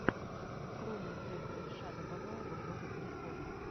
открой мне трек эльшада бабаева город грехов